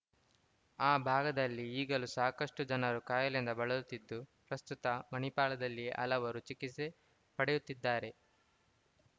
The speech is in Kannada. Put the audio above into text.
ಆ ಭಾಗದಲ್ಲಿ ಈಗಲೂ ಸಾಕಷ್ಟುಜನರು ಕಾಯಿಲೆಯಿಂದ ಬಳಲುತ್ತಿದ್ದು ಪ್ರಸ್ತುತ ಮಣಿಪಾಲದಲ್ಲಿಯೇ ಹಲವರು ಚಿಕಿತ್ಸೆ ಪಡೆಯುತ್ತಿದ್ದಾರೆ